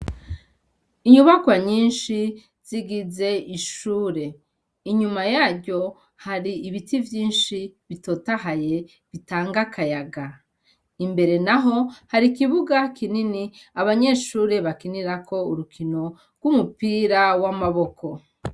Inyubakwa nyinshi zigize ishure inyuma yaryo hari ibiti vyinshi bitotahaye bitanga akayaga imbere na ho hari ikibuga kinini abanyeshure bakinirako urukino rw'umupira w'amaboko.